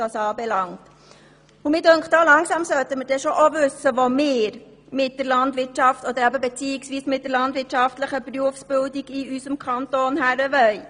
Langsam sollten wir schon wissen, wo wir mit der landwirtschaftlichen Berufsbildung in unserem Kanton hinwollen.